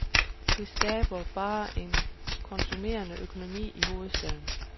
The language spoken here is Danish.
Det skaber bare en konsumerende økonomi i hovedstaden.